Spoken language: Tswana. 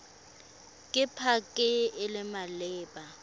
ke pac e e maleba